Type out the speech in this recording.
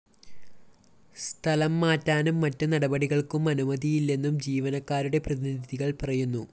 സ്ഥലം മാറ്റാനും മറ്റു നടപടികള്‍ക്കും അനുമതിയില്ലെന്നും ജീവനക്കാരുടെ പ്രതിനിധികള്‍ പറയുന്നു